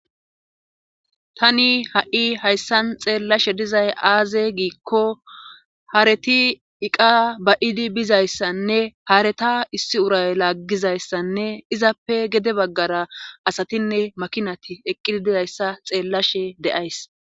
Tani ha'i hayssan xeellashe dizay aaze giikko haareti iqa bayidi bizayssanne haareta issi uray laaggizayssanne izappe gede baggara asatinne makinati eqqidi dizayssa xeellashe de'ays.